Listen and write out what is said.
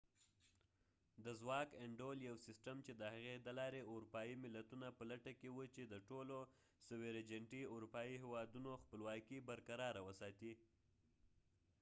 د ځواک انډول یو سیستم چې د هغې د لارې اروپایې ملتونه په لټه کې و چې د ټولو اروپایې هیوادونو خپلواکې sovereignity برقراره وساتي